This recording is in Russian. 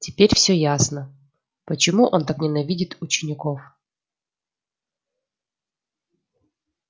теперь всё ясно почему он так ненавидит учеников